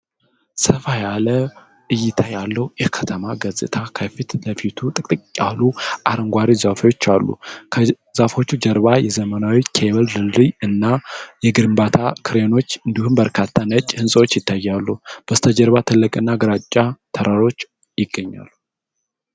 ሰፋ ያለ እይታ ያለው የከተማ ገጽታ። ከፊት ለፊቱ ጥቅጥቅ ያሉ አረንጓዴ ዛፎች አሉ። ከዛፎቹ ጀርባ የዘመናዊ የኬብል ድልድይ እና የግንባታ ክሬኖች እንዲሁም በርካታ ነጭ ሕንፃዎች ይታያሉ። በስተጀርባ ትልቅና ግራጫማ ተራራ ይገኛል።